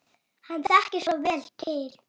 Hann þekkir svo vel til.